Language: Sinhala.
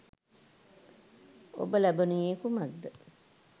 ඔබ ලබනුයේ කුමක්ද?